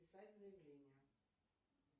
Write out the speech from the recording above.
писать заявление